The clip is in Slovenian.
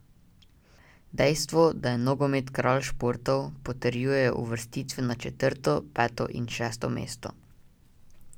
Dejstvo, da je nogomet kralj športov, potrjujejo uvrstitve na četrto, peto in šesto mesto.